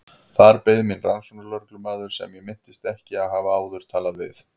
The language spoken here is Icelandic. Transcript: Þar beið mín rannsóknarlögreglumaður sem ég minntist ekki að hafa áður talað við.